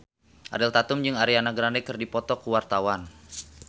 Ariel Tatum jeung Ariana Grande keur dipoto ku wartawan